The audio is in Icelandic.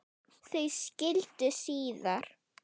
Þau skildu síðar.